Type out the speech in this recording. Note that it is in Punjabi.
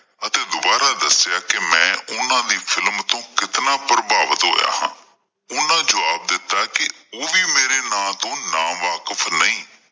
ਅਤੇ ਦੋਬਾਰਾ ਦੱਸਿਆ ਕੇ ਮੈਂ ਓਹਨਾਂ ਦੀ ਫਿਲਮ ਤੋਂ ਮੈਂ ਕਿਤਨਾ ਪ੍ਰਭਾਵਿਤ ਹੋਇਆ ਹਾਂ ਓਹਨਾਂ ਜਵਾਬ ਦਿੱਤਾ ਕੀ ਓਹ ਵੀ ਮੇਰੇ ਨਾਮ ਤੋਂ ਨਾਂ ਵਾਕਫ਼ ਨਹੀਂ